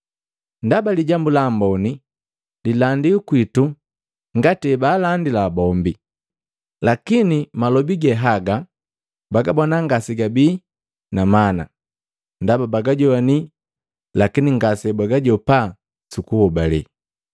Ndaba Lijambu Lamboni lilandiwi kwitu ngati hebaalandila bombi. Lakini malobi ge haga bagabona ngasegabii na mana ndaba bagajowani lakini ngasebagajopa su kuhobale.